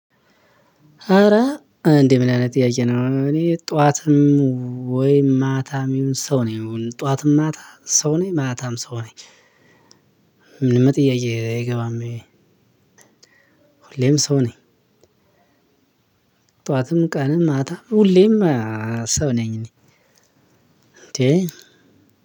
ኧረ እንዴ ምን አይነት ጥያቄ ነው? እኔ ጠዋትም ወይ ማታም ይሁን ሰው ነው ይሁን ጠዋትም ማታ ሰው ነኝ ማታም ሰው ነኝ። ምንም ጥያቄ አይገባም። ሁሌም ሰው ነኝ። ጠዋትም ቀንም ማታም ሁሌም ሰው ነኝ። እኔ